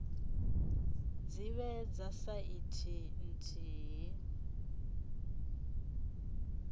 dzi vhe dza saizi nthihi